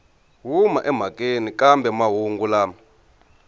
huma emhakeni kambe mahungu lama